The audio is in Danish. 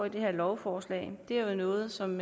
i det her lovforslag er noget som